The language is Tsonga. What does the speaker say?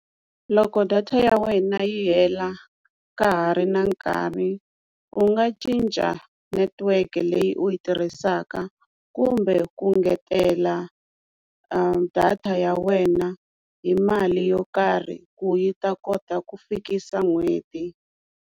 Loko data ya wena yi hela ka ha ri na nkarhi u nga cinca network leyi u yi tirhisaka kumbe ku ngetela data ya wena hi mali yo karhi ku yi ta kota ku fikisa n'hweti.